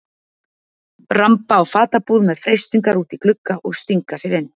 Ramba á fatabúð með freistingar úti í glugga og stinga sér inn.